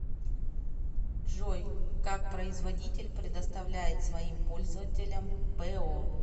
джой как производитель предоставляет своим пользователям по